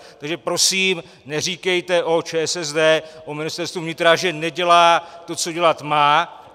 Takže prosím neříkejte o ČSSD, o Ministerstvu vnitra, že nedělá to, co dělat má.